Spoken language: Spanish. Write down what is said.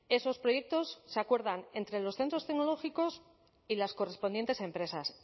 esos proyectos se acuerdan entre los centros tecnológicos y las correspondientes empresas